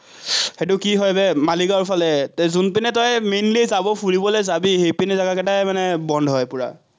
সেটো কি হয় বে, মালিগাঁৱৰফালে, পিনে তই mainly যাব, ফুৰিবলে যাবি, সেইপিনৰ বন্ধ হয় পুৰা।